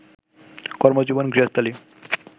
কর্মজীবন, গৃহস্থালী